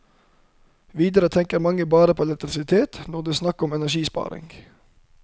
Videre tenker mange bare på elektrisitet når det er snakk om energisparing.